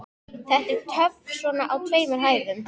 Þetta er töff svona á tveimur hæðum.